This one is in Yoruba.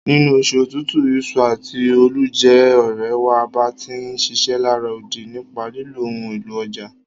Nínú osù otútù, ìso àti óólù je òrẹ̀ wa bá ti ń ṣiṣẹ́ lará odi nípa lílo ohun élò ọjà.